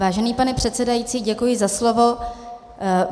Vážený pane předsedající, děkuji za slovo.